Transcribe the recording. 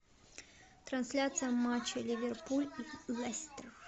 трансляция матча ливерпуль и лестер